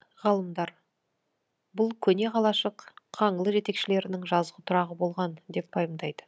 ғалымдар бұл көне қалашық қаңлы жетекшілерінің жазғы тұрағы болған деп пайымдайды